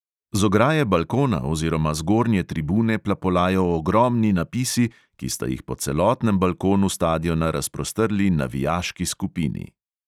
Z ograje balkona oziroma zgornje tribune plapolajo ogromni napisi, ki sta jih po celotnem balkonu stadiona razprostrli navijaški skupini.